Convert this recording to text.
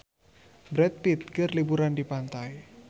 Brad Pitt keur liburan di pantai